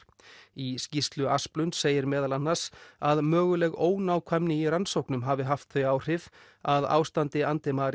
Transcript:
í skýrslu segir meðal annars að möguleg ónákvæmni í rannsóknum hafi haft þau áhrif að ástandi